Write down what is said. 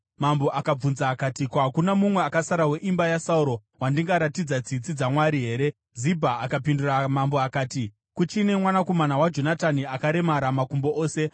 Mambo akabvunza akati, “Hakuna mumwe akasara weimba yaSauro wandingaratidza tsitsi dzaMwari here?” Zibha akapindura mambo akati, “Kuchine mwanakomana waJonatani; akaremara makumbo ose.”